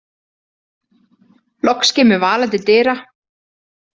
Loks kemur Vala til dyra.